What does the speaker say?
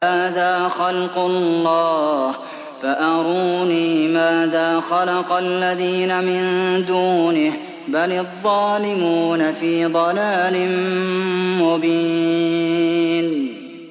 هَٰذَا خَلْقُ اللَّهِ فَأَرُونِي مَاذَا خَلَقَ الَّذِينَ مِن دُونِهِ ۚ بَلِ الظَّالِمُونَ فِي ضَلَالٍ مُّبِينٍ